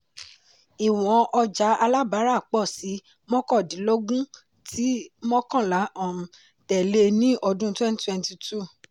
ìwọn ọjà alábárà pọ̀ sí mọ́kàndínlógún tí mọ́kànlá um tẹ̀lé ní ọdún 2022.